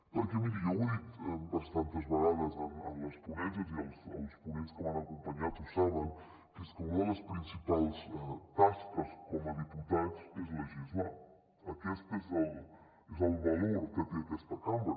perquè miri jo ho he dit bastantes vegades en les ponències i els ponents que m’han acompanyat ho saben que és que una de les principals tasques com a diputats és legislar aquest és el valor que té aquesta cambra